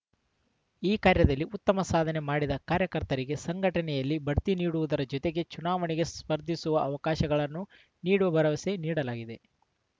ಈ ಕಾರ್ಯದಲ್ಲಿ ಉತ್ತಮ ಸಾಧನೆ ಮಾಡಿದ ಕಾರ್ಯಕರ್ತರಿಗೆ ಸಂಘಟನೆಯಲ್ಲಿ ಬಡ್ತಿ ನೀಡುವುದರ ಜತೆಗೆ ಚುನಾವಣೆಗೆ ಸ್ಪರ್ಧಿಸುವ ಅವಕಾಶಗಳನ್ನು ನೀಡುವ ಭರವಸೆ ನೀಡಲಾಗಿದೆ